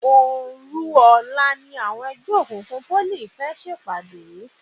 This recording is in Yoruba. Òòru ọ̀la ni àwọn ẹgbẹ́ òkùnkùn Pólì fẹ́ pàdé.